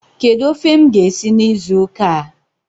Kedu ofe m ga-esi n'izu ụka a?